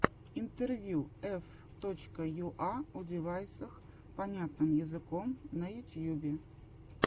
интервью ф точка юа о девайсах понятным языком на ютьюбе